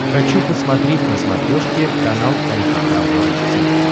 хочу посмотреть на смотрешке канал эн эйч кей волд ти ви